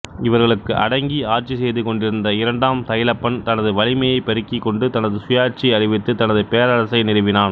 இவர்களுக்கு அடங்கி ஆட்சிசெய்து கொண்டிருந்த இரண்டாம் தைலப்பன் தனது வலிமையைப் பெருக்கிக்கொண்டு தனது சுயாட்சியை அறிவித்து தனது பேரரசை நிறுவினான்